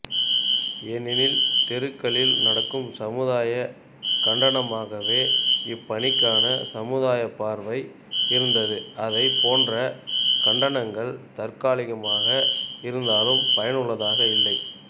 ஏனெனில் தெருக்களில் நடக்கும் சமுதாயக் கண்டனமாகவே இப்பணிக்கான சமுதாயப் பார்வை இருந்ததுஅதைப் போன்ற கண்டனங்கள் தற்காலிகமாக இருந்தாலும் பயனுள்ளதாக இல்லை